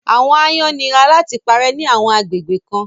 àwọn àayan nira làti pàrẹ ni àwọn agbegbe kan